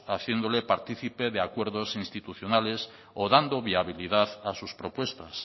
haciéndole partícipe de acuerdos institucionales o dando viabilidad a sus propuestas